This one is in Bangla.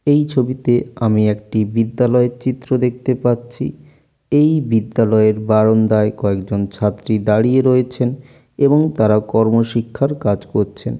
এই ছবিতে আমি একটি বিদ্যালয়ের চিত্র দেখতে পাচ্ছি। এই বিদ্যালয়ের বারন্দায় কয়েকজন ছাত্রী দাঁড়িয়ে রয়েছেন এবং তারা কর্ম শিক্ষার কাজ করছেন।